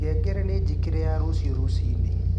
ngengere ni njĩkĩre ya rũcĩũ rũcĩĩnĩ